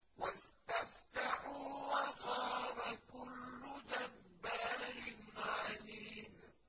وَاسْتَفْتَحُوا وَخَابَ كُلُّ جَبَّارٍ عَنِيدٍ